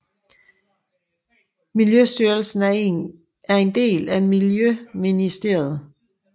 Miljøstyrelsen er en del af miljøministeriet